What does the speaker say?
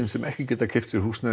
sem ekki getur keypt sér húsnæði